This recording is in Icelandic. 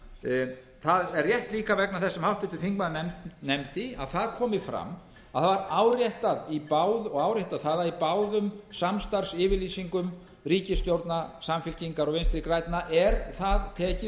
það er rétt líka vegna þess sem háttvirtur þingmaður nefndi að það komi fram og árétta það að í báðum samstarfsyfirlýsingum ríkisstjórna samfylkingar og vinstri grænna er það tekið